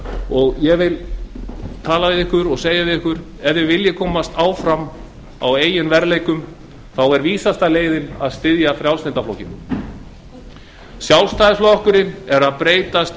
og segja við það ef þið viljið komast áfram á eigin verðleikum þá er vísasta leiðin að styðja frjálslynda flokkinn sjálfstæðisflokkurinn er að breytast